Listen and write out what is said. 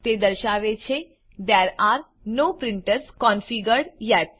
તે દર્શાવે છે there are no printers configured yet